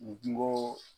N kungo